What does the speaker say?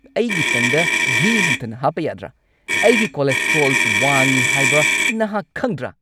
ꯑꯩꯒꯤ ꯇꯟꯗ ꯘꯤ ꯍꯟꯊꯅ ꯍꯥꯞꯄ ꯌꯥꯗ꯭ꯔꯥ? ꯑꯩꯒꯤ ꯀꯣꯂꯦꯁꯇ꯭ꯔꯣꯜ ꯋꯥꯡꯉꯤ ꯍꯥꯏꯕ ꯅꯍꯥꯛ ꯈꯪꯗ꯭ꯔꯥ?